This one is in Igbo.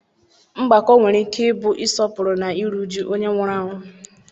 Mgbakọ nwere ike ịbụ ịsọpụrụ na iru uju onye nwụrụ anwụ.